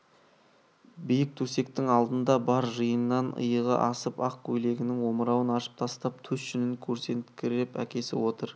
биік төсектің алдында бар жиыннан иығы асып ақ көйлегінің омырауын ашып тастап төс жүнін көрсетіңкіреп әкесі отыр